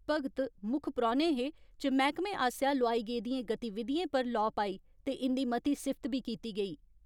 भगत मुक्ख परौहने हे च मैहकमे आसेया लोआई गेदियें गतिविधियें पर लौ पाई ते इन्दी मती सिफ्त बी कीती गेई।